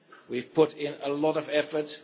We have put in a lot of effort.